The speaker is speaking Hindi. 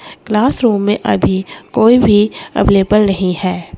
क्लास रूम में अभी कोई भी अवेलेबल नहीं है--